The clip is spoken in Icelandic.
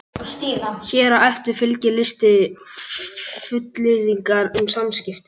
Hér á eftir fylgir listi fullyrðinga um samskipti.